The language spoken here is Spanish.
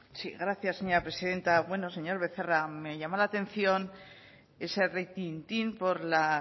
sí gracias señora presidenta bueno señor becerra me llama la atención ese retintín por la